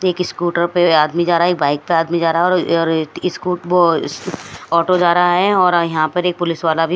एक स्कूटर पे आदमी जा रहा है एक बाइक पे आदमी जा रहा और और अ टी स्कू वो स ऑटो जा रहा है और अ यहाँ पर एक पुलिस वाला भी --